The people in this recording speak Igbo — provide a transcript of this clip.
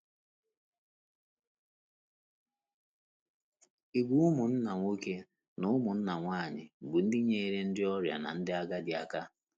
Ìgwè ụmụnna nwoke na ụmụnna nwanyị bụ́ ndị nyeere ndị ọrịa na ndị agadi aka